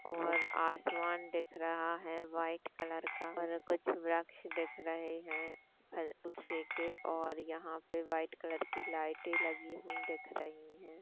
और आसमान दिख रहा है वाइट कलर का और कुछ वृक्ष दिख रहे है के और यँहा पे व्हाईट कलर की लाइटे लगी हुई दिख रही है।